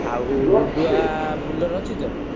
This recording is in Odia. ଆଉ ଡୁଡୁଆ Bolero ଅଛି ତ?